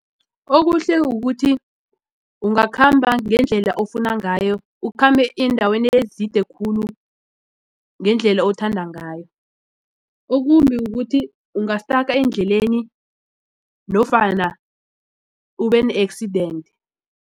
Okuhle kukuthi ungakhamba ngendlela ofuna ngayo ukhambe eendaweni ezide khulu ngendlela othanda ngayo. Okumbi kukuthi ungastaka endleleni nofana ube ne-accident.